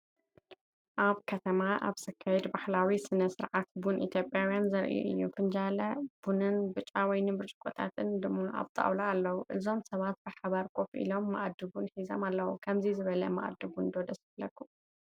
ኣብ ከተማ ኣብ ዝካየድ ባህላዊ ስነ-ስርዓት ቡን ኢትዮጵያውያን ዘርኢ እዩ። ፊንጃለ ቡንን ብጫ ወይኒ ብርጭቆታትን ድማ ኣብ ጣውላ ኣለዉ። እዞም ሰባት ብሓባር ኮፍ ኢሎም፡ መኣዲ ቡን ሒዞም ኣለዉ። ከምዚ ዝበለ መኣዲ ቡን ዶ ደስ ይብለኩም?